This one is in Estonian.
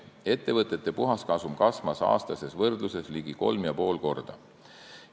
Ettevõtete puhaskasum kasvas aastases võrdluses ligi kolm ja pool korda.